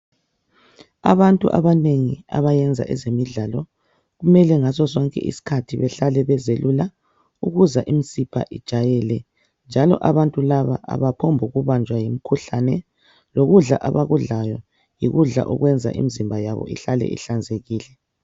Abantu abanengi abayenza ezemidlalo kumele ngaso sonke isikhathi bahle bezelula ukuze imizimba ijayele njalo abantu laba abaphongu banjwa yimikhuhlane lokudla abakudlayo yikudla okwenza imizimba yabo ihlale ihlanzekile.